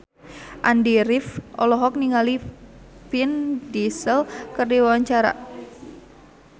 Andy rif olohok ningali Vin Diesel keur diwawancara